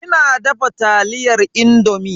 Ina dafa taliyar indomi.